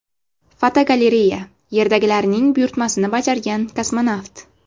Fotogalereya: Yerdagilarning buyurtmasini bajargan kosmonavt.